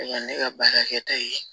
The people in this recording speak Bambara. ne ka baarakɛta ye